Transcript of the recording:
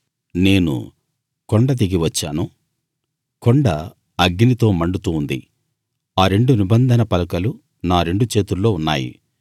నేను కొండ దిగి వచ్చాను కొండ అగ్నితో మండుతూ ఉంది ఆ రెండు నిబంధన పలకలు నా రెండు చేతుల్లో ఉన్నాయి